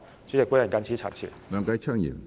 主席，我謹此陳辭。